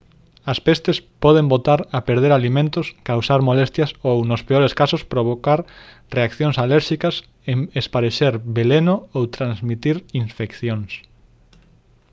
as pestes poden botar a perder alimentos causar molestias ou nos peores casos provocar reaccións alérxicas esparexer veleno ou transmitir infeccións